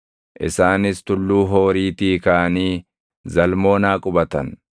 Isaanis Tulluu Hooriitii kaʼanii Zalmoonaa qubatan.